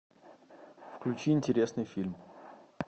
включи интересный фильм